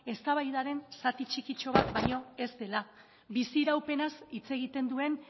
eztabaidaren zati txikitxo bat baino ez dela biziraupenaz hitz egiten duen